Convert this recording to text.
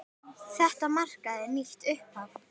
Þetta markaði nýtt upphaf.